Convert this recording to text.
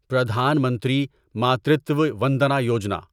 Pradhan Mantri Matritva Vandana Yojana